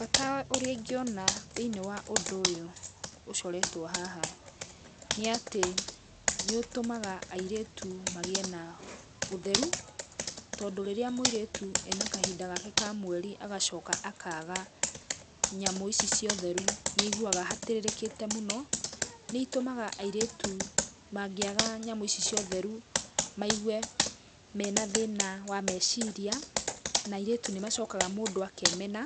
Bata ũrĩa ingĩona thĩinĩ wa ũndũ ũyũ ũcoretwo haha nĩatĩ nĩũtũmaga airĩtu magĩe na ũtheru, tondũ rĩrĩa mũirĩtu ena kahinda gake ka mweri agacoka akaaga nyamũ ici cia ũtheru nĩaguaga atĩrĩrĩkĩte mũno, nĩitũmaga airĩtu mangĩaga nyamũ ici ciotheru maigũe mena thĩna wa meciria na airĩtũ nĩ macokaga makemena